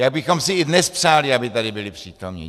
My bychom si i dnes přáli, aby tady byli přítomni.